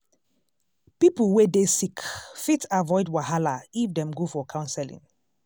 people wey dey sick fit avoid wahala if dem go for counseling.